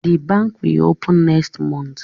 The bank will open mext month